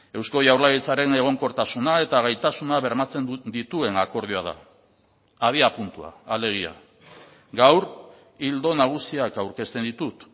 eusko jaurlaritzaren egonkortasuna eta gaitasuna bermatzen dituen akordioa da abiapuntua alegia gaur ildo nagusiak aurkezten ditut